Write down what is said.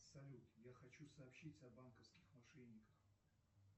салют я хочу сообщить о банковских мошенниках